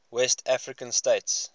west african states